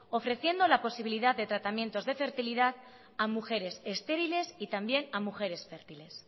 ofreciendo la posibilidad de tratamientos de fertilidad a mujeres estériles y también a mujeres fértiles